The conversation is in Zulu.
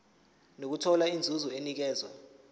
nokuthola inzuzo enikezwa